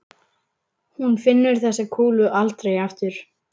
Hún finnur þessa kúlu aldrei aftur.